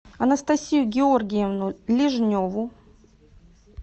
анастасию георгиевну лежневу